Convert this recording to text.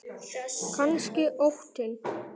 Kannski óttinn.